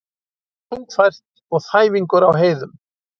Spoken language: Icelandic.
Þungfært og þæfingur á heiðum